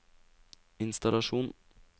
innstallasjon